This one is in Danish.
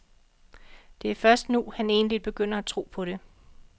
Det er først nu, han egentlig begynder at tro på det.